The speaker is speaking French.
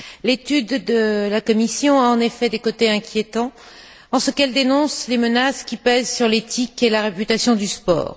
L'étude de la Commission a en effet des côtés inquiétants en ce qu'elle dénonce les menaces qui pèsent sur l'éthique et la réputation du sport.